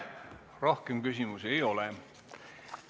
Rohkem küsimusi ei ole.